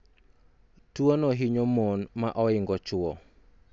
tuo no hinyo mon ma oingo chuo